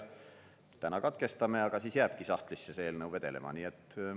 Täna katkestame, aga siis jääbki sahtlisse vedelema see eelnõu.